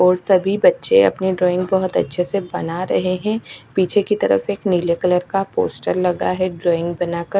और सभी बच्चे अपनी ड्रॉइंग बहोत अच्छे से बना रहे हैं पीछे की तरफ एक नीले कलर का पोस्टर लगा है ड्राइंग बनाकर--